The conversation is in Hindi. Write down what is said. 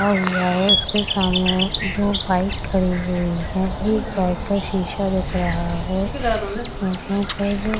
खड़ा हुआ है इसके सामने दो बाइक खड़ी हुई है एक बाइक का शीशा दिख रहा है यहाँ पर --